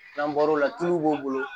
N'an bɔr'o la tuluw b'o bolo